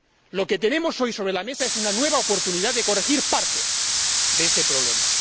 Lo que tenemos hoy sobre la mesa es una nueva oportunidad de corregir parte de ese problema.